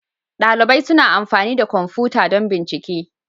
Dalibai suna amfani da kwamfuta don bincike.